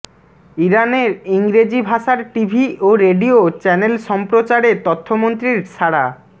ইরানের ইংরেজি ভাষার টিভি ও রেডিও চ্যানেল সম্প্রচারে তথ্যমন্ত্রীর সাড়া